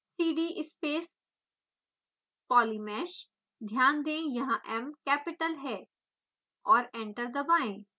cd space polymesh ध्यान दें यहाँ m कैपिटल है और एंटर दबाएं